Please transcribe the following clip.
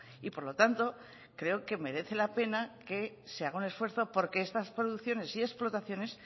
y por lo tanto creo que merece la pena que se haga un esfuerzo porque estas producciones y explotaciones